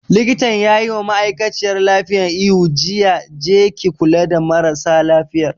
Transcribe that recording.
Likitan yayi ma ma'aikaciyar lafiyan ihu jiya 'Je ki kula da marasa lafiyar'!